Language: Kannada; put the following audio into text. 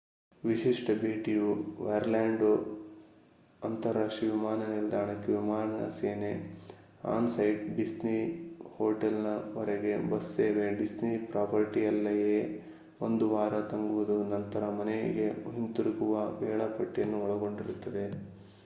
"ವಿಶಿಷ್ಟ ಭೇಟಿ"ಯು ಒರ್ಲ್ಯಾಂಡೊ ಅಂತರರಾಷ್ಟ್ರೀಯ ವಿಮಾನ ನಿಲ್ದಾಣಕ್ಕೆ ವಿಮಾನ ಸೇವೆ ಆನ್-ಸೈಟ್ ಡಿಸ್ನಿ ಹೋಟೆಲ್‌ವರೆಗೆ ಬಸ್ ಸೇವೆ ಡಿಸ್ನಿ ಪ್ರಾಪರ್ಟಿಯಲ್ಲ್ಲಯೇ ಒಂದು ವಾರ ತಂಗುವುದು ನಂತರ ಮನೆಗೆ ಹಿಂತಿರುಗುವ ವೇಳಾಪಟ್ಟಿಯನ್ನು ಒಳಗೊಂಡಿರುತ್ತದೆ